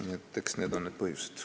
Nii et eks need ole need põhjused.